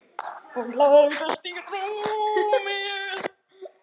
Og lagðist í rúmið.